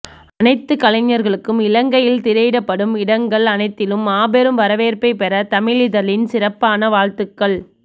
அனைத்து கலைஞர்களுக்கும் இலங்கையில் திரையிடப்படும் இடங்கள் அனைத்திலும் மாபெரும் வரவேற்ப்பை பெற தமிழிதழின் சிறப்பான வாழ்த்துக்கள்